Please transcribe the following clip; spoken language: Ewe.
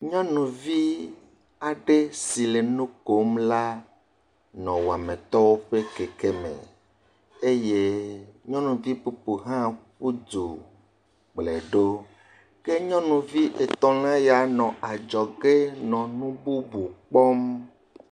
Nyɔnuvi aɖe si le nu kom la nɔ wɔmitɔwo ƒe kɛkɛ me eye nyɔnuvi bubu hã ƒu du kplɔ̃e ɖo ke nyɔnuvi etɔ̃ ya la le adzɔge nɔ nu bubu kpɔm.